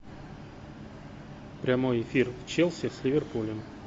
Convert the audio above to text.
прямой эфир челси с ливерпулем